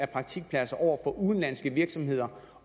praktikpladser over for udenlandske virksomheder